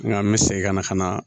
Nga an be segin ka na ka na